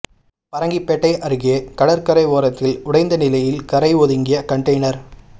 பரங்கிப்பேட்டை அருகே கடற்கரை ஓரத்தில் உடைந்த நிலையில் கரை ஒதுங்கிய கண்டெய்னர்